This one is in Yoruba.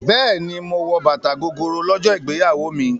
Bẹ́ẹ̀ni, mo wọ bàtà Gogoro lọ́jọ́ ìgbéyàwó mi.